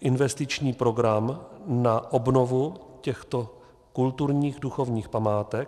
investiční program na obnovu těchto kulturních duchovních památek.